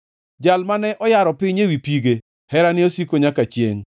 Jal mane oyaro piny ewi pige, Herane osiko nyaka chiengʼ.